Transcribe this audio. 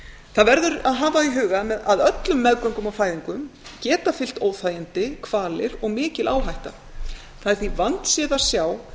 það verður að hafa í huga að öllum meðgöngum og fæðingum geta fylgt óþægindi kvalir og mikil áhætta það er því vandséð að sjá